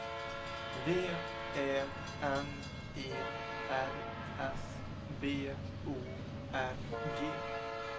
V Ä N E R S B O R G